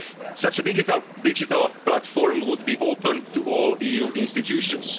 the Conference. Such a digital platform would be open to all